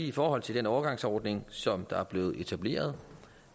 i forhold til den overgangsordning som der er blevet etableret